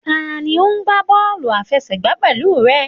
Tani o n gba bọọlu afẹsẹgba pẹlu rẹ?